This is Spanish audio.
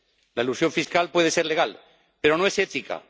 La elusión fiscal puede ser legal, pero no es ética.